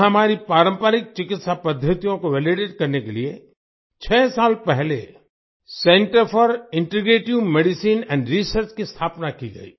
यहाँ हमारी पारंपरिक चिकित्सा पद्दतियों को वैलिडेट करने लिए छह साल पहले centre for integrative medicine and research की स्थापना की गई